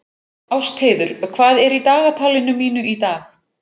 Ástheiður, hvað er í dagatalinu mínu í dag?